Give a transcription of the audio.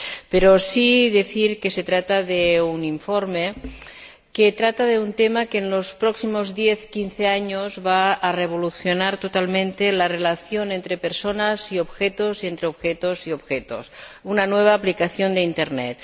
Pero sí decir que se trata de un informe sobre un tema que en los próximos diez o quince años va a revolucionar totalmente la relación entre personas y objetos y entre objetos y objetos una nueva aplicación de Internet.